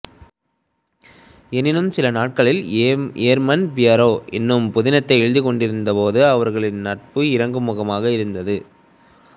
எனினும் சில நாட்களில் ஏர்மன் பியரே என்னும் புதினத்தை எழுதிக்கொண்டிருந்தபோது அவர்களது நட்பு இறங்குமுகமாக இருந்தது